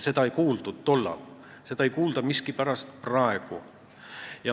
Seda ei kuuldud tollal ja seda ei kuulda miskipärast ka praegu.